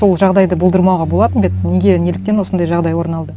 сол жағдайды болдырмауға болатын ба еді неге неліктен осындай жағдай орын алды